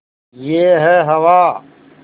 यह है हवा